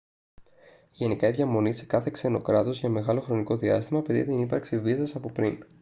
γενικά η διαμονή σε κάθε ξένο κράτος για μεγάλο χρονικό διάστημα απαιτεί την ύπαρξη βίζας από πριν